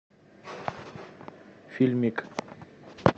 фильмик